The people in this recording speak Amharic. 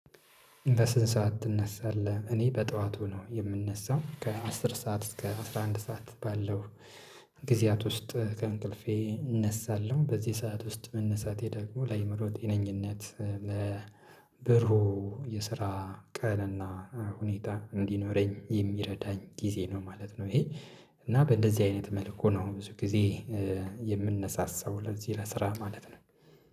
በስንት ሰዓት ትነሳለህ? እኔ በጠዋቱ ነው የምነሳው ከአስር ሰዓት እስከ አስራ አንድ ሰዓት ባለው፤ ጊዜያት ውስጥ ከእንቅልፌ እነሳለሁ በዚህ ሰዓት ውስጥ መነሳቴ ደግሞ ለአእምሮ ጤነኝነት ለብሩህ የስራ ቀንና ሁኔታ እንዲኖረኝ የሚረዳኝ ጊዜ ነው ማለት ነው ይሄ እና በእንደዚህ አይነት መልኩ ነው ብዙ ጊዜ የምንነሳሳው ለዚህ ለስራ ማለት ነው።